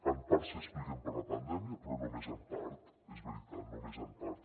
en part s’expliquen per la pandèmia però només en part és veritat només en part